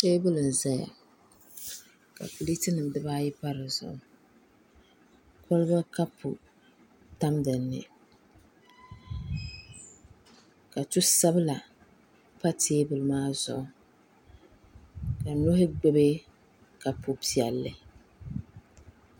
Teebuli n zaya ka pileeti dibaa ayi tam dizuɣu koliba kapu tam dinni ka tu sabila pa teebuli maa zuɣu ka nohi gbubi kapu piɛlli